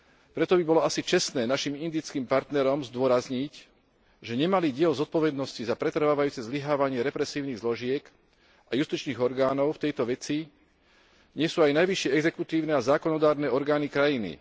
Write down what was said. Preto by bolo asi čestné našim indickým partnerom zdôrazniť, že nemalý diel zodpovednosti za pretrvávajúce zlyhávanie represívnych zložiek a justičných orgánov v tejto veci nesú aj najvyššie exekutívne a zákonodarné orgány krajiny.